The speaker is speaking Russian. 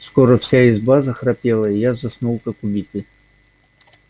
скоро вся изба захрапела и я заснул как убитый